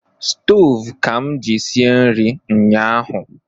Stove ka m ji sie nri nyahu